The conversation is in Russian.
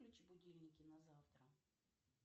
выключи будильники на завтра